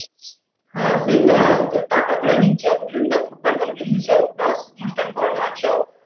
হ্যাঁ সেটাই যখন টাকাগুলো নিচ্ছে দুতিনটা ফুটবল বল কিনে দিচ্ছে বাস অনুষ্ঠান করো নাচো